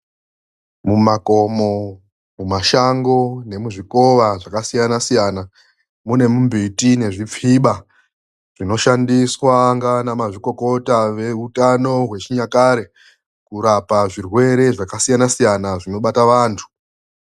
Mumakomo ,mumashango nemuzvikova zvakasiyana-siyana ,nemumbiti nezvipfiba zvinoshandiswa ngana mazvikokota veutano hwechinyakare kurapa zvirwere zvakasiyana-siyana zvinobata vantu.